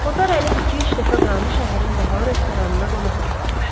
Kotar hələ iki-üç dəfə Qranı şəhərin bahalı restoranına qonaq da aparmışdı.